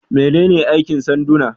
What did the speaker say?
Menene aikin sanduna?